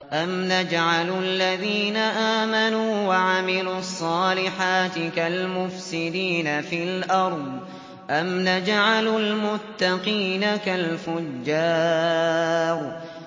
أَمْ نَجْعَلُ الَّذِينَ آمَنُوا وَعَمِلُوا الصَّالِحَاتِ كَالْمُفْسِدِينَ فِي الْأَرْضِ أَمْ نَجْعَلُ الْمُتَّقِينَ كَالْفُجَّارِ